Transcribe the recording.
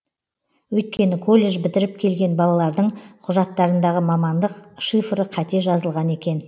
өйткені колледж бітіріп келген балалардың құжаттарындағы мамандық шифры қате жазылған екен